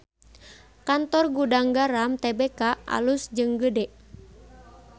Kantor Gudang Garam Tbk alus jeung gede